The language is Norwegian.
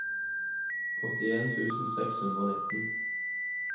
åttien tusen seks hundre og nitten